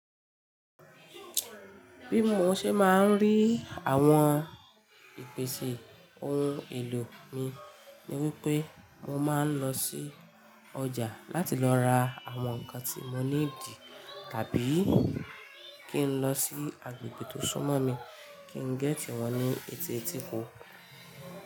Bí mo ṣe máa ń rí àwọn ìpèsè ohun èlò mi ni wípé mo máa ń lọ sí ọjà láti lọ ra àwọn ǹkan tí mo nii di tàbí kí n lọ sí agbègbè tó súnmọ́ mi kí n gé tì wọ́n ní etí etíko.